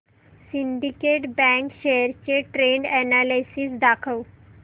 Syndicate bank shares चे trend analysis दाखव